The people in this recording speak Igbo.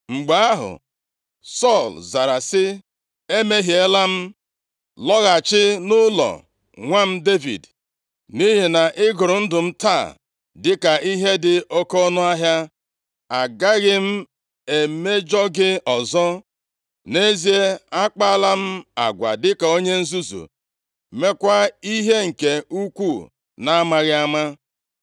Mgbe ahụ, Sọl zara sị, “Emehiela m. Lọghachi nʼụlọ nwa m Devid. Nʼihi na ị gụrụ ndụ m taa dịka ihe dị oke ọnụahịa. Agaghị m emejọ gị ọzọ. Nʼezie, a kpaala m agwa dịka onye nzuzu, meekwa ihe nke ukwuu na-amaghị ama.”